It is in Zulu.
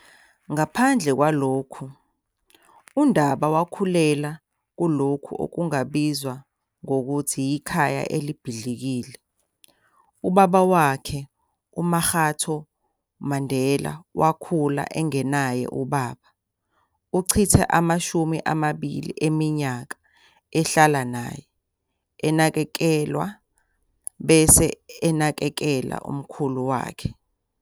Ngaphandle kwalokhu, uNdaba wakhulela kulokho okungabizwa ngokuthi yikhaya elibhidlikile. Ubaba wakhe uMakgatho Mandela wakhula engenaye ubaba. Uchithe amashumi amabili eminyaka ehlala naye - enakekelwa, bese enakekela umkhulu wakhe.